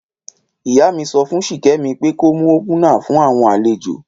Ìyá mi sọfún ṣikẹmi pe kó mú òpúnà fun awọn àléjò.